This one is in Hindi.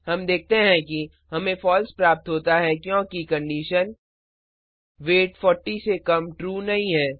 हम देखते हैं कि हमें फॉल्स प्राप्त होता है क्योंकि कंडीशन वेट 40 से कम ट्रू नहीं है